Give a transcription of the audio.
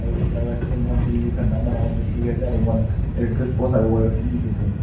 moikhan building khan dangor dangor bishi dikhi ase aru moikhan electric post aru wire khan bhi dikhi ase.